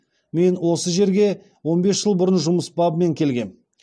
мен осы жерге он бес жыл бұрын жұмыс бабымен келгем